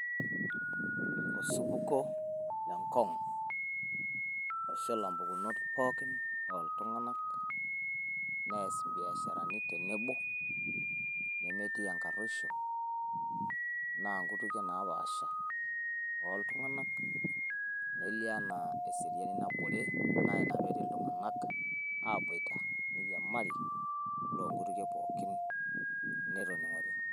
Osupuko le ngong oshula mpukunot pookin oo iltung`anak neas imbiasharani pookin tenebo nemetii enkaruoisho. Naa nkutukie naapaasha oo iltung`anak. Nelio enaa eseriani nabore naa ina pee etii iltung`anak aabuaita neiriamari loo nkutukie pookin netening`ote.